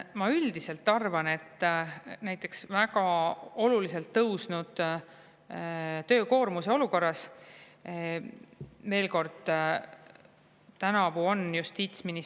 Ma üldiselt arvan, et väga oluliselt tõusnud töökoormuse olukorras.